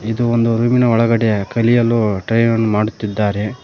ಇದು ಒಂದು ರೂಮಿನ ಒಳಗಡೆ ಕಲಿಯಲು ಟೈ ಅನ್ನು ಮಾಡುತ್ತಿದ್ದಾರೆ.